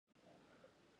tohathatra vita amin